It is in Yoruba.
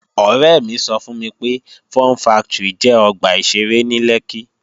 Ọ̀rẹ́ mi sọ fún mi pé, Fun factory jẹ́ ọgbà ìṣeré ní Lẹ́kkí